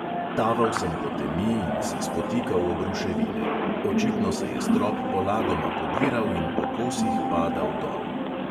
Taval sem po temi in se spotikal ob ruševine; očitno se je strop polagoma podiral in po kosih padal dol.